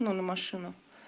на машину